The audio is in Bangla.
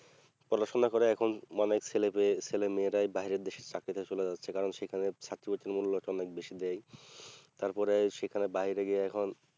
পড়াশোনা করে এখন অনেক ছেলে পেয়ে ছেলে মেয়েরাই বাইরের দেশে চাকরিতে চলে যাচ্ছে কারণ সেখানে ছাত্রছাত্রীর মূল্য তো অনেক বেশি দেয় তারপরে সেখান বাইরে গিয়ে এখন